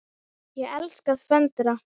Ég elska að föndra.